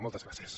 moltes gràcies